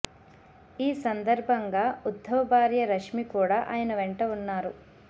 ఈ సందర్భంగా ఉధ్ధవ్ భార్య రష్మి కూడా ఆయన వెంట ఉన్నారు